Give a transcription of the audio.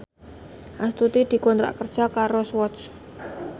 Astuti dikontrak kerja karo Swatch